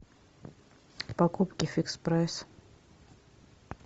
покупки фикс прайс